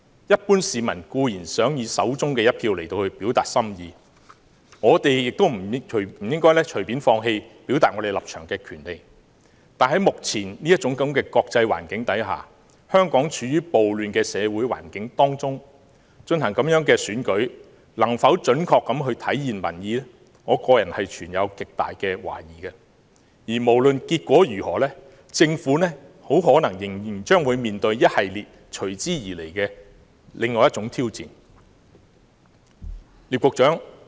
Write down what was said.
一般市民固然想以手中一票來表達心意，我們也不應該放棄表達立場的權利，但在目前這種國際環境下，香港處於暴亂的社會環境當中，進行這樣的選舉能否準確體現民意，我個人存有極大的懷疑，無論結果如何，政府可能仍將面對一系列隨之而來的挑戰。